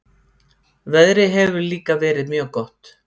Veðrið hefur líka verið mjög gott